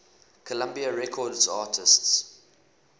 columbia records artists